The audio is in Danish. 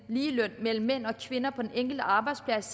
ligeløn mellem mænd og kvinder på den enkelte arbejdsplads